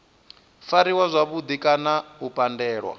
fariwa zwavhudi kana u pandelwa